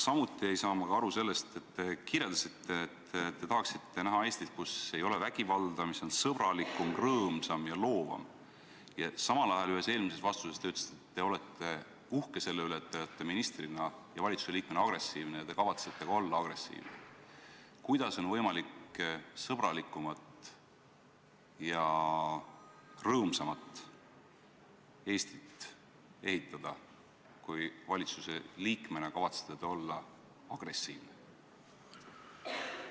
Samuti ei saa ma aru sellest, et kui te kirjeldasite, et te tahaksite näha Eestit, kus ei ole vägivalda, mis on sõbralikum, rõõmsam ja loovam, aga samal ajal ühes vastuses ütlesite, et te olete uhke selle üle, et te olete ministrina ja valitsusliikmena agressiivne, ja te kavatsete ka olla agressiivne, siis kuidas on võimalik sõbralikumat ja rõõmsamat Eestit ehitada, kui te valitsusliikmena kavatsete olla agressiivne?